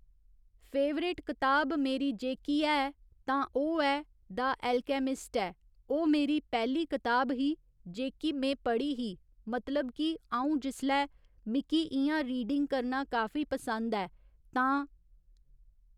favourite कताब मेरी जेह्की है तां ओह् ऐ द'ऐलकैमिस्ट ऐ ओह् मेरी पैह्‌ली कताब ही जेह्की में पढ़ी ही मतलब कि अ'ऊं जिसलै मिकी इ'यां रीडिंग करना काफी पसंद ऐ तां